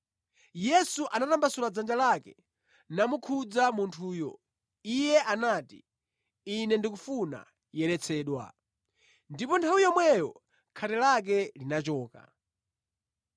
Yesu anatambasula dzanja lake namukhudza munthuyo. Iye anati, “Ine ndikufuna, yeretsedwa!” Ndipo nthawi yomweyo khate lake linachoka.